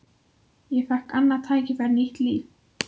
Ég fékk annað tækifæri, nýtt líf.